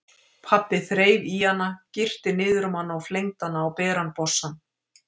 Pabbi þreif í hana, girti niður um hana og flengdi hana á beran bossann.